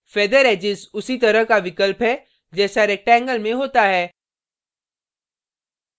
feather edges उसी तरह का विकल्प है जैसा rectangle में होता है